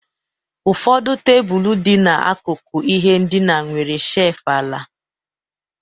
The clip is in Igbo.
Ụfọdụ tebụl dị n'akụkụ ihe ndina nwere shelf ala